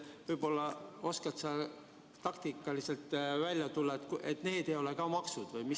Võib-olla oskad sa taktikaliselt selgitada, et ka need ei ole maksud?